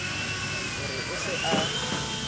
ho re o se a